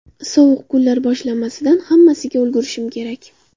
Sovuq kunlar boshlanmasidan hammasiga ulgurishim kerak.